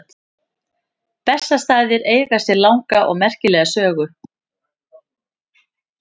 Bessastaðir eiga sér langa og merkilega sögu.